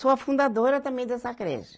Sou a fundadora também dessa creche.